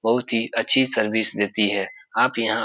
बहुत ही अच्छी सर्विस देती है। आप यहाँ --